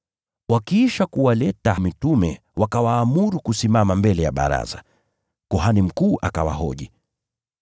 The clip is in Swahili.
Wakiisha kuwaleta mitume wakawaamuru kusimama mbele ya baraza ili kuhani mkuu awahoji.